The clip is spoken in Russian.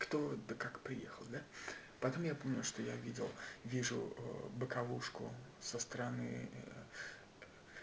кто да как приехал да потом я помню что я видел вижу боковушку со стороны